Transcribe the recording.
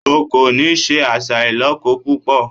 O kò ní se àṣà ìlọ́kọ púpọ̀!